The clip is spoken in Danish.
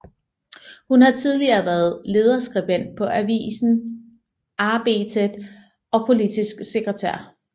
Hun har tidigere været lederskribent på avisen Arbetet og politisk sekretær